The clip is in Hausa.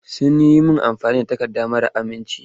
Sun yi min amfani da takarda mara aminci.